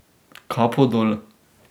Kapo dol.